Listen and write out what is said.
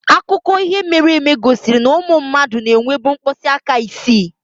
Akụkọ ihe mere eme gosiri na ụmụ mmadụ na-enwebu mkpịsị aka isii.